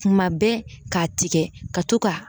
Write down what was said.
Kuma bɛɛ k'a tigɛ ka to ka